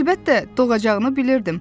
Əlbəttə, doğacağını bilirdim.